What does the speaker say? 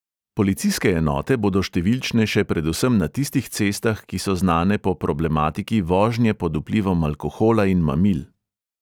Policijske enote bodo številčnejše predvsem na tistih cestah, ki so znane po problematiki vožnje pod vplivom alkohola in mamil.